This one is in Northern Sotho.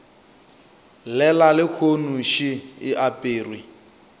llela lehono še e aperwe